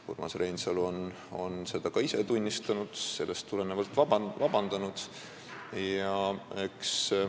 Urmas Reinsalu on seda ka ise tunnistanud ja seetõttu vabandust palunud.